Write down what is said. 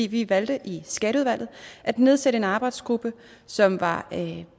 vi valgte i skatteudvalget at nedsætte en arbejdsgruppe som var